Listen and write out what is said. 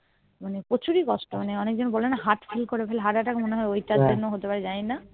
মানে প্রচুরই কষ্ট মানে অনেক জন বলে না heart fail করে heart attack করে হতে পারে জানিনা